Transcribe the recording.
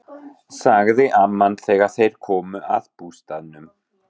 sagði amman þegar þeir komu að bústaðnum.